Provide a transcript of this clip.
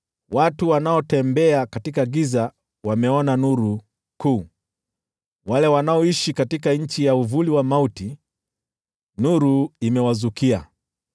Watu wanaotembea katika giza wameona nuru kuu, wale wanaoishi katika nchi ya uvuli wa mauti, nuru imewazukia.